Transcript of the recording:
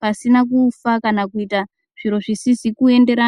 pasina kufa kana kuite zvinhu zvisizi kuenderana.